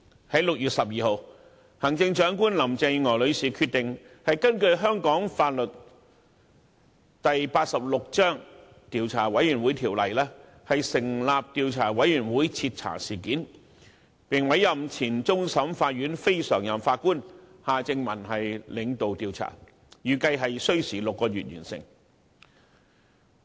在6月12日，行政長官林鄭月娥女士決定根據香港法例第86章《調查委員會條例》成立獨立調查委員會徹查事件，並委任前終審法院非常任法官夏正民領導調查，預計需時6個月完成。